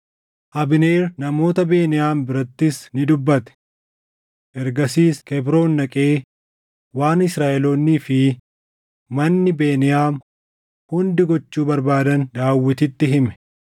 Abneer namoota Beniyaam birattis ni dubbate. Ergasiis Kebroon dhaqee waan Israaʼeloonnii fi manni Beniyaam hundi gochuu barbaadan Daawititti hime.